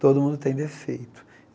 Todo mundo tem defeito.